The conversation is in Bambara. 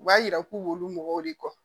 U b'a yira k'ulu mɔgɔw de kɔ